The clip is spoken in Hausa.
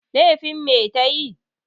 Lefin me ta yi?